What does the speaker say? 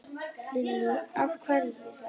Lillý: Af hverju þá?